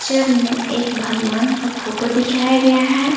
चर में एक भगवान का फोटो दिखाया गया है।